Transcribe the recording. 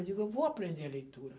Eu digo, eu vou aprender a leitura.